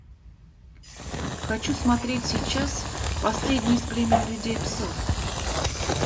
хочу смотреть сейчас последний из племени людей псов